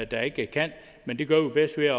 der ikke kan men det gør vi bedst ved